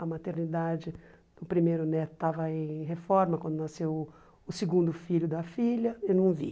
A maternidade do primeiro neto estava em reforma quando nasceu o segundo filho da filha, eu não vi.